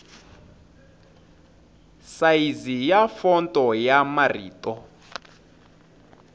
sayizi ya fonto ya marito